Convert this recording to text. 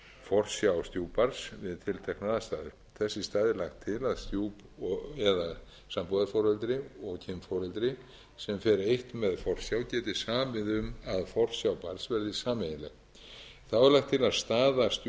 forsjá stjúpbarns við tilteknar aðstæður þess í stað er lagt til að stjúp eða sambúðarforeldri og kynforeldri sem fer eitt með forsjá geti samið um að forsjá barns verði sameiginleg þá er lagt til að staða